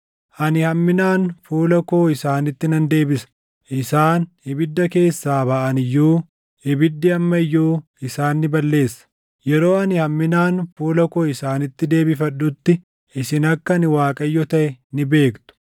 Ani hamminaan fuula koo isaanitti nan deebisa. Isaan ibidda keessaa baʼan iyyuu, ibiddi amma iyyuu isaan ni balleessa. Yeroo ani hamminaan fuula koo isaanitti deebifadhutti, isin akka ani Waaqayyo taʼe ni beektu.